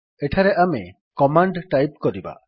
ଏଠାରେ ଆମେ command type କରିବା